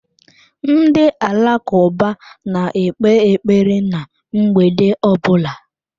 Ndị Alakụba na-ekpe ekpere ná mgbede ọ bụla.